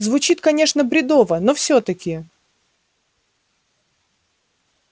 звучит конечно бредово но всё-таки